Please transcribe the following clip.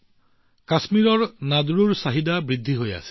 কাশ্মীৰৰ নাদ্ৰুৰ চাহিদা নিৰন্তৰে বৃদ্ধি পাই আহিছে